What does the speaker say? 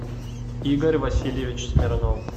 игорь васильевич смирнов